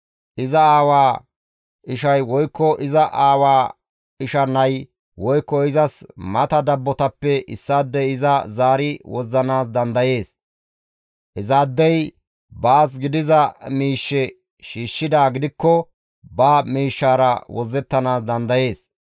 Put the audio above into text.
Iza aawaa ishay woykko iza aawaa isha nay woykko izas mata dabbotappe issaadey iza zaari wozzanaas dandayees; izaadey baas gidiza miishshe shiishshidaa gidikko ba miishshara wozzettanaas dandayees.